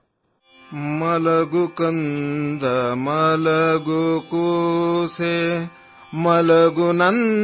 Kannada sound clip 35 seconds Hindi translation